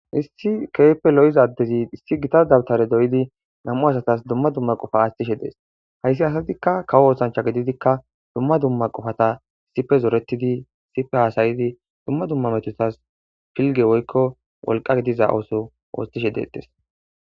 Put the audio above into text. issi keepe lo7izaddezi issi gitadabtare doyidi namu asatas dumma dumma qofa astishe dees hayssi asatikka kawo oosancha gididikka dumma dumma qofata sife zooretidi sife haasayidi dumma dumma metutas pilge woykko wolqa gidiza ooso oostishe deettes